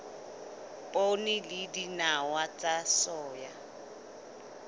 poone le dinawa tsa soya